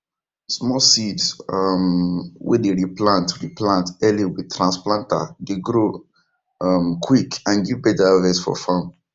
small seeds um wey dem re plant re plant early with transplanter dey grow um quick and give better harvest for farm